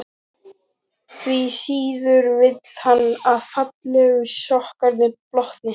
Því síður vill hann að fallegu sokkarnir blotni.